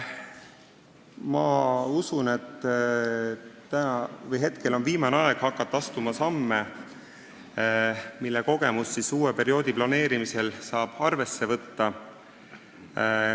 Ma usun, et meil on viimane aeg hakata astuma samme, mille kogemusi saab uue perioodi planeerimisel arvesse võtta.